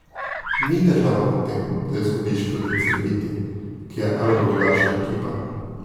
Ni težava v tem, da izgubiš proti Cedeviti, ki je evroligaška ekipa.